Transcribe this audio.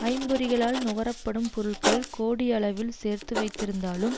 ஐம்பொறிகளால் நுகர படும் பொருள்கள் கோடி அளவில் சேர்த்து வைத்திருந்தாலும்